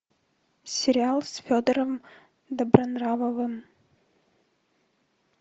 сериал с федором добронравовым